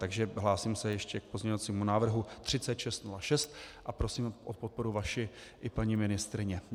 Takže hlásím se ještě k pozměňovacímu návrhu 3606, a prosím o podporu vaši i paní ministryně.